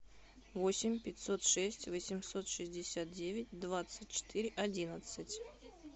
восемь пятьсот шесть восемьсот шестьдесят девять двадцать четыре одиннадцать